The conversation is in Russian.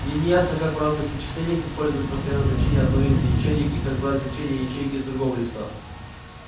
мне не ясно как в разных вычислениях использовать постоянное значение одной из ячеек и как брать значения ячеек из другого листа